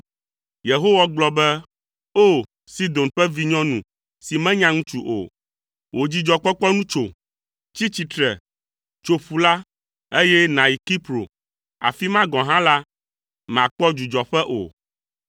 Yehowa gblɔ be, “O! Sidon ƒe vinyɔnu si menya ŋutsu o, wò dzidzɔkpɔkpɔ nu tso! “Tsi tsitre, tso ƒu la, eye nàyi Kipro, afi ma gɔ̃ hã la, màkpɔ dzudzɔƒe o.”